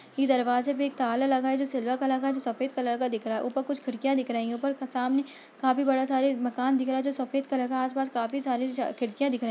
इस दरवाज़े पे एक ताला लगा हुआ है जो सिल्वर कलर का है जो सफ़ेद कलर का दिख रहा है ऊपर कुछ खिड़कियाँ दिख रही है ऊपर क सामने काफी बड़े सारे मकान दिख रहे है जो सफ़ेद कलर का है आस पास काफी सारे खिड़कियाँ दिख रही।